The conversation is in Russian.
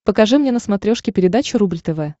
покажи мне на смотрешке передачу рубль тв